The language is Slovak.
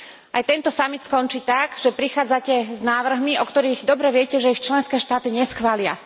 Aj tento samit skončí tak, že prichádzate s návrhmi, o ktorých dobre viete, že ich členské štáty neschvália.